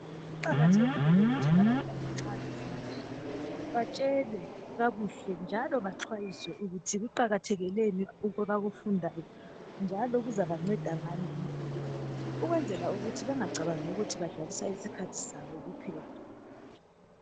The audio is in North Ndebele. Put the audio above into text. Kuqakathekile ukuthi abantwana nxa befundiswa batshelwe kakuhle njalo baxwayiswe ukuthi kuqakathekeni lokhu abakufundayo njalo kuzabanceda ngani empilweni. Ukwenzela ukuthi bengacabangi ukuthi badlalisa isikhathi sabo kuphela.